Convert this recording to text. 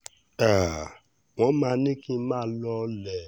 um wọ́n máa ní kí n máa lọọlẹ̀